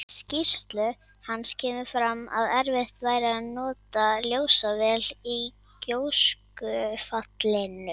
Í skýrslu hans kemur fram að erfitt var að nota ljósavél í gjóskufallinu.